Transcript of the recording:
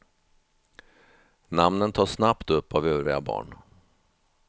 Namnen tas snabbt upp av övriga barn.